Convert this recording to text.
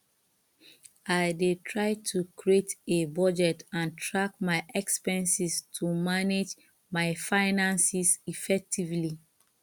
i dey try to create a budget and track my expenses to manage my finances effectively